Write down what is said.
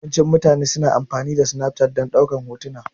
Yawancin mutane su na amfani da Snapchat dan ɗaukan hotuna